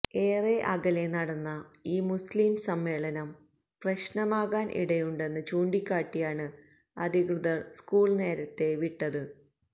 ഏറെ അകലെ നടന്ന ഈ മുസ്ലിം സമ്മേളനം പ്രശ്നമാകാന് ഇടയുണ്ടെന്ന് ചൂണ്ടിക്കാട്ടിയാണ് അധികൃതര് സ്കൂള് നേരത്തെ വിട്ടത്